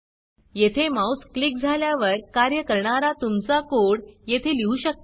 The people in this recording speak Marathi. येथे माऊस क्लिक झाल्यावर कार्य करणारा तुमचा कोड येथे लिहू शकता